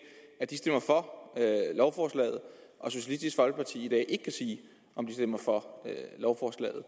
at de stemmer for lovforslaget og socialistisk folkeparti ikke kan sige om de stemmer for lovforslaget